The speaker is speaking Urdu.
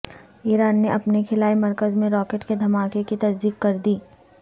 ایران نے اپنے خلائی مرکز میں راکٹ کے دھماکے کی تصدیق کردی